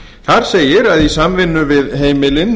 þar segir að í samvinnu við heimilin